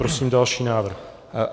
Prosím další návrh.